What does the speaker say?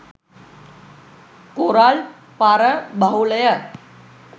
Coral පර බහුලය.